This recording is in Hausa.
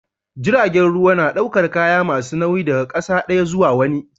Jiragen ruwa na daukar kaya masu nauyi daga ƙasa daya zuwa wani